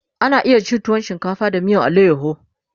ana iya cin tuwo shinkafa da miyar alayaho